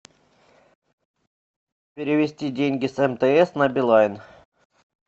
перевести деньги с мтс на билайн